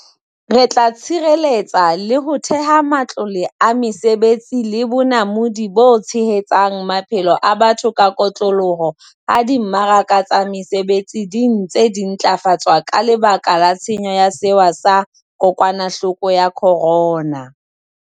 Re tla tshireletsa le ho theha matlole a mesebetsi le bonamodi bo tshehetsang maphelo a batho ka kotloloho ha di mmaraka tsa mesebetsi di ntse di ntlafatswa ka lebaka la tshenyo ya sewa sa ko kwanahloko ya corona.